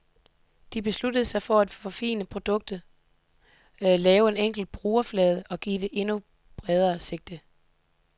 De besluttede sig for at forfine produktet, lave en enkel brugerflade og give det et endnu bredere sigte.